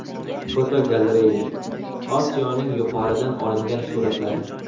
Fotogalereya: Osiyoning yuqoridan olingan suratlari .